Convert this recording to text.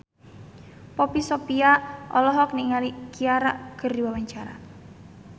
Poppy Sovia olohok ningali Ciara keur diwawancara